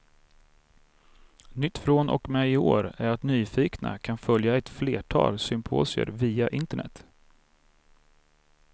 Nytt från och med i år är att nyfikna kan följa ett flertal symposier via internet.